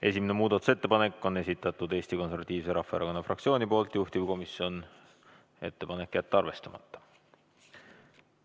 Esimese muudatusettepaneku on esitanud Eesti Konservatiivse Rahvaerakonna fraktsioon, juhtivkomisjoni ettepanek on jätta arvestamata.